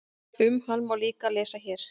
Um hann má líka lesa hér.